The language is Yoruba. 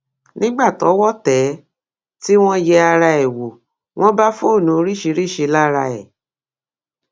nígbà tọwọ tẹ ẹ tí wọn yẹ ara ẹ wò wọn bá fóònù oríṣiríṣiì lára ẹ